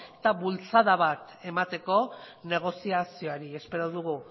eta bultzada bat emateko negoziazioari espero dugu